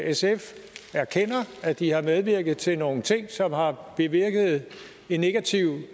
sf erkender at de har medvirket til nogle ting som har bevirket en negativ